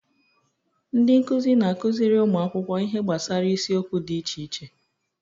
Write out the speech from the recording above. Ndị nkuzi na-akụziri ụmụ akwụkwọ ihe gbasara isiokwu dị iche iche